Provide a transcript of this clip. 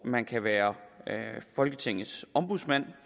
man kan være folketingets ombudsmand